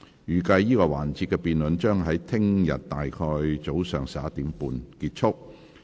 預計這個環節的辯論將於明天上午大約11時30分結束。